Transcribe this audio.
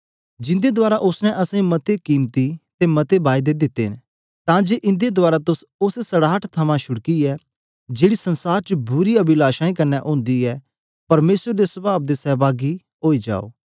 जिन्दे रहें ऊन सानु मते मोल्ल अते मती सीई दिती ऐ ताकि इन्दे रहें तुस ओस सड़ाहट कन्ने छुड़कियै जेकी जगत च बुरी अभिलाषाओं कन्ने होंदी ऐ परमेसर दे स्वभाव दे समपासे ओई जाओ